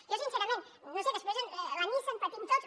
jo sincerament no ho sé després la nissan patim tots